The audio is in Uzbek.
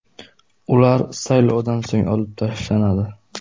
Ular saylovdan so‘ng olib tashlanadi.